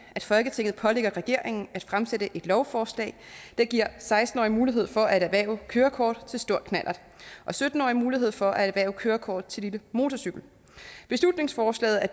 at folketinget pålægger regeringen at fremsætte et lovforslag der giver seksten årige mulighed for at erhverve kørekort til stor knallert og sytten årige mulighed for at erhverve kørekort til motorcykel beslutningsforslaget er